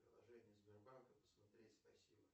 приложение сбербанка посмотреть спасибо